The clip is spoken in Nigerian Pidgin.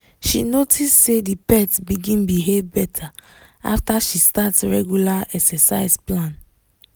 she notice say the pet begin behave better after she start regular exercise plan